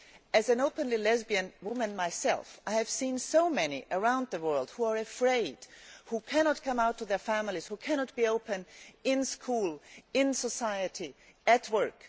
As an openly lesbian woman myself, I have seen so many such women around the world who are afraid, who cannot come out to their families, who cannot be open in school, in society or at work.